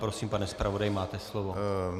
Prosím, pane zpravodaji, máte slovo.